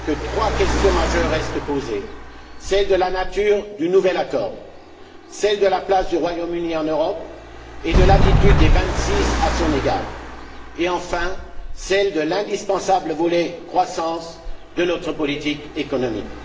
Trois questions majeures restent posées celle de la nature du nouvel accord, celle de la place du Royaume Uni en Europe et de l'attitude des vingt six à son égard et, enfin, celle de l'indispensable volet croissance de notre politique économique.